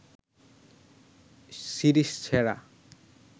series সেরা